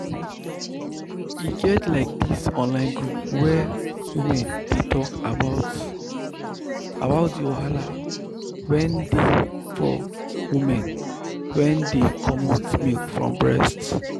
e get like this online group where women dey talk about about the wahala wen dey for women wen dey comot milk from breast.